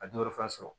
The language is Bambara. A dɔwɛrɛ fana sɔrɔ